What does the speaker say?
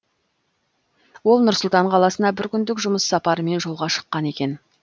ол нұр сұлтан қаласына бір күндік жұмыс сапарымен жолға шыққан екен